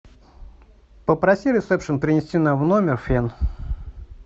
попроси ресепшен принести нам в номер фен